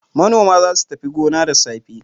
Manoma za su tafi gona da safe.